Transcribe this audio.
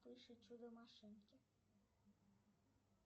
вспыш и чудо машинки